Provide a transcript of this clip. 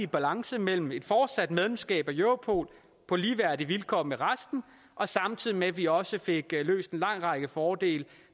balance mellem et fortsat medlemskab af europol på ligeværdige vilkår med resten og samtidig med at vi også fik løst en lang række fordele